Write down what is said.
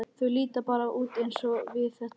Þau líta bara út eins og við, þetta fólk.